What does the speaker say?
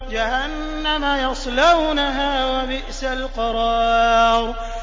جَهَنَّمَ يَصْلَوْنَهَا ۖ وَبِئْسَ الْقَرَارُ